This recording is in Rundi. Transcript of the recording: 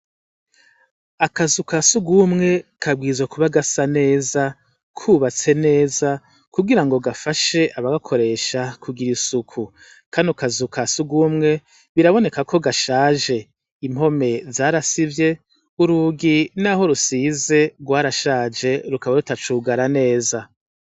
Akazu ka surwumwe kabwirizwa kuba gasa neza, kubatse neza kugirango gafashe abagakoresha kugira isuku. Kano kazu ka surwumwe biraboneka ko gashaje. Impome zarasivye urugi naho rusize rwarashaje rukaba rutacugara neza.